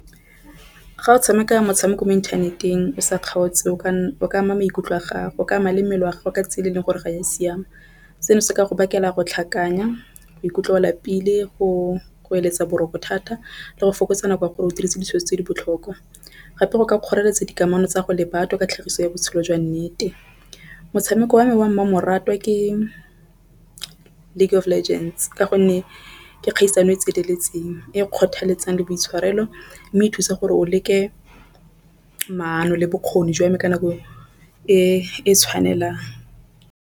Ga o tshameka motshameko mo inthaneteng o sa kgaotse o ka ama maikutlo a gagwe o ka ama le mmele wa gago ka tsela e leng gore ga ya siama. Seno se ka go bakela go tlhakanya go ikutlwa o lapile go eletsa boroko thata le go fokotsa nako ya gore o dirise tse di botlhokwa. Gape go ka kgoreletsa dikamano tsa go le batho ka tlhagiso ya botshelo jwa nnete. Motshameko wa me wa mmamoratwa ke League of Legends ka gonne ke kgaisano e tseneletseng e kgothaletsa le boitshwarelo mme e thusa gore o leke maano le bokgoni jwame ka nako e tshwanelang.